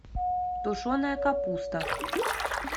тушеная капуста